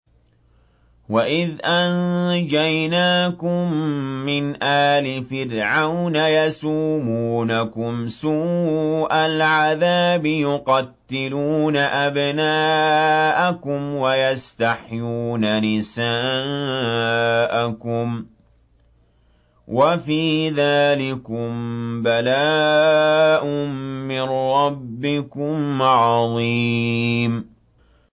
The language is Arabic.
وَإِذْ أَنجَيْنَاكُم مِّنْ آلِ فِرْعَوْنَ يَسُومُونَكُمْ سُوءَ الْعَذَابِ ۖ يُقَتِّلُونَ أَبْنَاءَكُمْ وَيَسْتَحْيُونَ نِسَاءَكُمْ ۚ وَفِي ذَٰلِكُم بَلَاءٌ مِّن رَّبِّكُمْ عَظِيمٌ